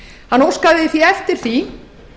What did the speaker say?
hann óskaði því eftir því